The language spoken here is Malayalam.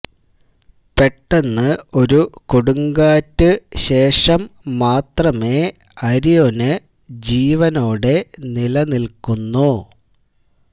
പെട്ടെന്ന് ഒരു കൊടുങ്കാറ്റ് ശേഷം മാത്രമേ അരിഒന് ജീവനോടെ നിലനിൽക്കുന്നു